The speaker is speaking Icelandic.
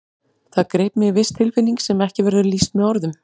Það greip mig viss tilfinning sem ekki verður lýst með orðum.